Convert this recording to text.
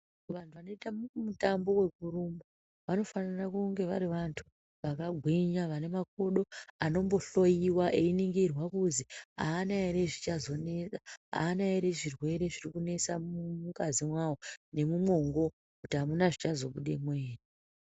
Vantu vanoita mutambo yekurumba vanofanire kunge vari vantu vakagwinya vane makodo anombohloiwa einingirwa kuzi aana ere zvichazonetsa aana ere zvirwere zviri kunesa mungazi mwawo nemumwongo kuti hamuna zvichazobudemwo ere .